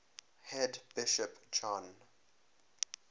head bishop john